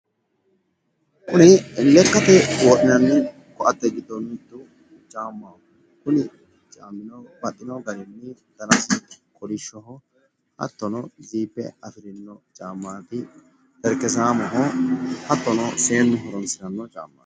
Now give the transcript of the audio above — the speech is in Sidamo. Kuni lekkate wodhinanni koatte giddo mittu caammaho. Kuni caammino baxxino garinni danasi kolishshoho. hattono ziipe afirino caammaati, terekezaamoho, hattono seennu horonssiranno caammaati.